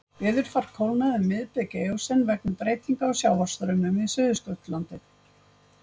Veðurfar kólnaði um miðbik eósen vegna breytinga á sjávarstraumum við Suðurskautslandið.